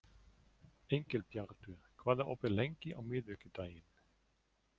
Engilbjartur, hvað er opið lengi á miðvikudaginn?